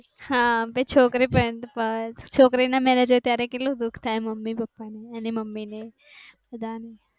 હમ છોકરી ન marriage હોય ત્યારે પણ કેટલું દુખ થાય મમ્મી પાપા ને એની મમ્મી ને બધા ને